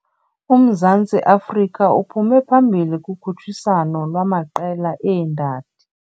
UMzantsi Afrika uphume phambili kukhutshiswano lwaamaqela eendadi.